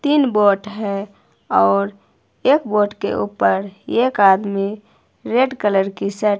तीन बोट है और एक बोट के ऊपर एक आदमी रेड कलर की श--